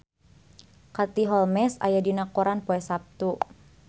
Katie Holmes aya dina koran poe Saptu